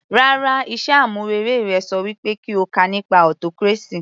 Rárá, iṣẹ́ àmúrelé rẹ ṣọ wí pé kí o kà nípa autocracy